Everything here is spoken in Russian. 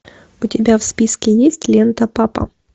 у тебя в списке есть лента папа